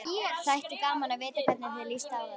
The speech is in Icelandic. Þætti gaman að vita hvernig þér líst á þetta?